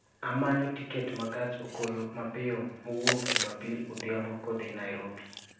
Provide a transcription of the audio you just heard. Amanyo tiket ma gach okolomapiyo mowuok jumapil odhiambo kodhi Nairobi